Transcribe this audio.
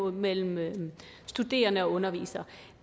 mellem studerende og undervisere